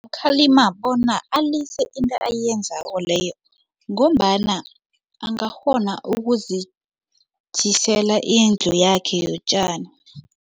Khalima bona alise into ayenzako leyo ngombana angakghona ukuzitjhisela indlu yakhe yotjani.